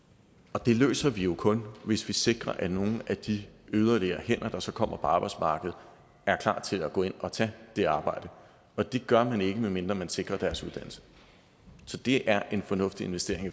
og det løser vi jo kun hvis vi sikrer at nogle af de yderligere hænder der så kommer på arbejdsmarkedet er klar til at gå ind at tage det arbejde og det gør man ikke medmindre man sikrer deres uddannelse så det er en fornuftig investering i